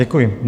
Děkuji.